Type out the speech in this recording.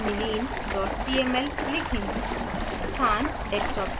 file का name aniline cmlलिखें